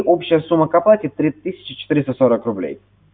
общая сумма к оплате три тысячи четыреста сорок рублей